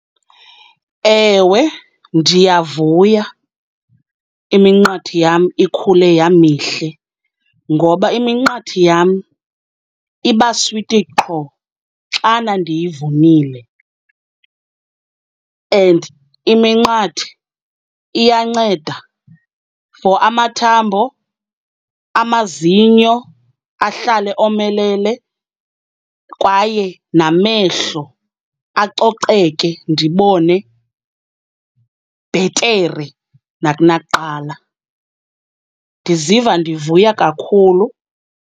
Ewe ndiyavuya iminqathe yam ikhule yamihle. Ngoba iminqathe yam iba switi qho xana ndiyivunile and iminqathe iyanceda for amathambo, amazinyo ahlale omelele kwaye namehlo acoceke ndibone bhetere nakunakuqala. Ndiziva ndivuya kakhulu.